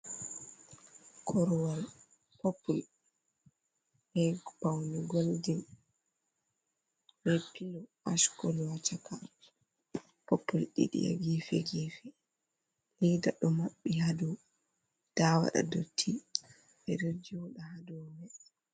Korwal popul be faoune goldin be pilo ash kolo ha chaka popul ɗiɗi ha gefe-gefe leda ɗo maɓɓi ha dou ta waɗa dotti ɓeɗo joɗa hadou mai.